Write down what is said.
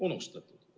Unustatud!